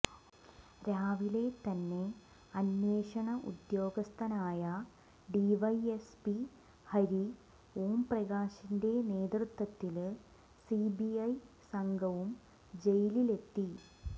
രാവിലെ തന്നെ അന്വേഷണഉദ്യോഗസ്ഥനായ ഡിവൈഎസ്പി ഹരി ഒാംപ്രകാശിന്റെ നേതൃത്വത്തില് സിബിഐ സംഘവും ജയിലില് എത്തി